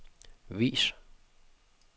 vis